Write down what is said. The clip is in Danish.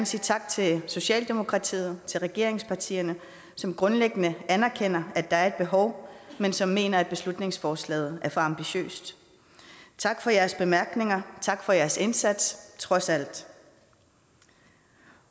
sige tak til socialdemokratiet til regeringspartierne som grundlæggende anerkender at der er et behov men som mener at beslutningsforslaget er for ambitiøst tak for jeres bemærkninger tak for jeres indsats trods alt